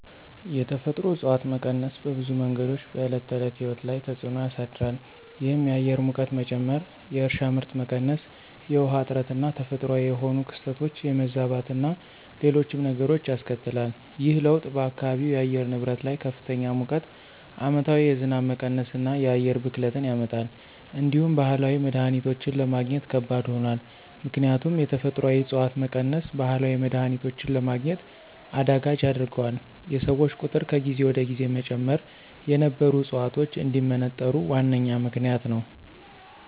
የተፈጥሮ እፅዋት መቀነስ በብዙ መንገዶች በዕለት ተዕለት ሕይወት ላይ ተፅዕኖ ያሳድራል። ይህም የአየር ሙቀት መጨመር፣ የእርሻ ምርት መቀነስ፣ የውሃ እጥረትና ተፈጥሯዊ የሆኑ ክስተቶች የመዛባትና ሌሎችም ነገሮች ያስከትላል። ይህ ለውጥ በአካባቢው የአየር ንብረት ላይ ከፍተኛ ሙቀት፣ ዓመታዊ የዝናብ መቀነስና የአየር ብክለትን ያመጣል። እንዲሁም ባህላዊ መድሀኒቶችን ለማግኘት ከባድ ሆኗል። ምክንያቱም የተፈጥሮአዊ ዕፅዋት መቀነስ ባህላዊ መድሀኒቶችን ለማግኘት አዳጋች ያደርገዋል፤ የሰዎች ቁጥር ከጊዜ ወደ ጊዜ መጨመር የነበሩ ዕፅዋቶች እንዲመነጠሩ ዋነኛ ምክንያት ነዉ።